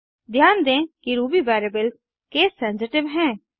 ध्यान दें कि रूबी वेरिएबल्स केस सेंसिटिव हैं